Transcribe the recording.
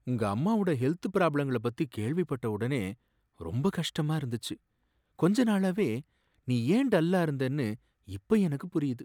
உங்க அம்மாவோட ஹெல்த் பிராப்ளங்கள பத்தி கேள்விபட்ட ஒடனே ரொம்ப கஷ்டமா இருந்துச்சு, கொஞ்ச நாளாவே நீ ஏன் டல்லா இருந்தனு இப்போ எனக்குப் புரியுது.